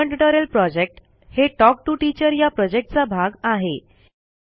spoken tutorial project हे talk to teacher या प्रॉजेक्टचा भाग आहे